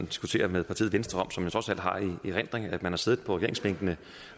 diskutere med partiet venstre som trods alt har i erindring at man har siddet på regeringsbænkene